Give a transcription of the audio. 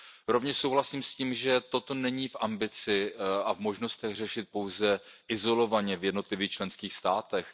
Rovněž souhlasím s tím, že toto není v ambici a v možnostech řešit pouze izolovaně v jednotlivých členských státech.